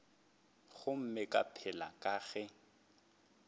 gomme ka pela ke ge